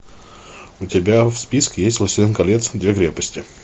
у тебя в списке есть властелин колец две крепости